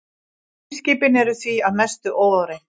Geimskipin eru því að mestu óáreitt.